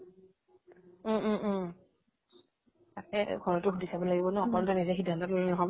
উম উম উম তাকেই, ঘৰতো সুধি চাব লাগিব ন। অকলেতো নিজে সিধান্ত ললে